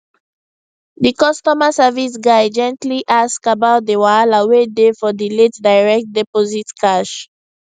di customer service guy gently ask about di wahala wey dey for di late direct deposit cash